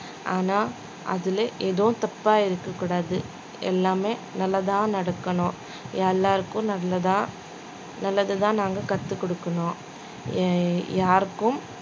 ஆனா அதுல எதுவும் தப்பா இருக்கக் கூடாது எல்லாமே நல்லதா நடக்கணும் எல்லாருக்கும் நல்லதா நல்லதைதான் நாங்க கத்துக் கொடுக்கணும் எ~ யாருக்கும்